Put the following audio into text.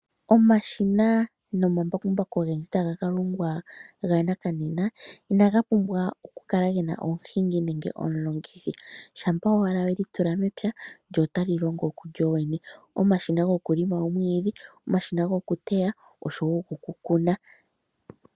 Omashina nomambakumbaku ogendji taga ka longwa ga nakananena inaga pumbwa okukala ge na omuhingi nenge omulongithi shampa owala we li tula momake lyo ota li longo lyo lyene omashina gokuteta omwiidhi, omashina gokuteya oshowo okukuna.